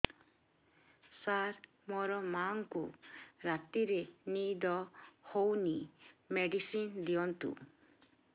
ସାର ମୋର ମାଆଙ୍କୁ ରାତିରେ ନିଦ ହଉନି ମେଡିସିନ ଦିଅନ୍ତୁ